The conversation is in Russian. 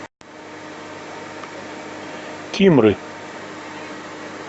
кимры